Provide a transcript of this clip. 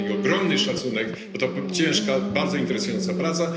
Mam do nich ogromny szacunek, bo to ciężka, choć bardzo interesująca praca.